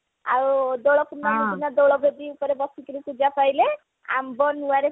ଆଉ ଏବେ ପୂର୍ଣମୀ ଦିନ ଗୋଲବେଦି ଉପରେ ବସିକିରି ପୂଜା ପାଇଲେ ଆମ୍ବ ନିଆ ରେ